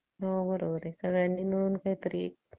Malaria चा पहिला टप्पा कोणता?